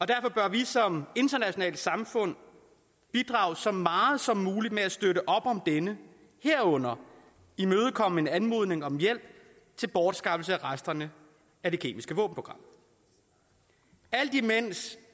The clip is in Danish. derfor bør vi som internationalt samfund bidrage så meget som muligt med at støtte op om denne herunder imødekomme en anmodning om hjælp til bortskaffelse af resterne af det kemiske våbenprogram alt imens